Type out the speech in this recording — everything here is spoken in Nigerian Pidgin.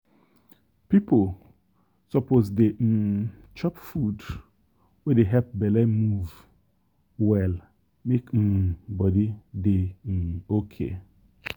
people suppose dey um chop food wey dey help belle move well make um body dey um okay.